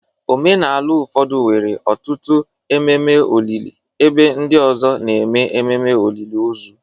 Omenala ụfọdụ nwere ọtụtụ ememe olili, ebe ndị ọzọ na-eme ememe olili ozu.